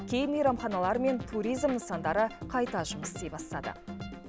кей мейрамханалар мен туризм нысандары қайта жұмыс істей бастады